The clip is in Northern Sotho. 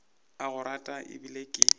a go rata ebile ke